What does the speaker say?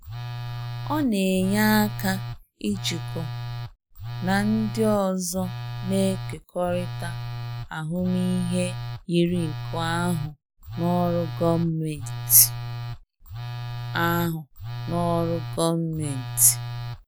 Ọ na-enye aka ijikọ na ndị ọzọ na-ekekọrịta ahụmịhe yiri nke ahụ n'ọrụ gọọmentị. ahụ n'ọrụ gọọmentị.